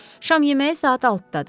Şam yeməyi saat 6-dadır.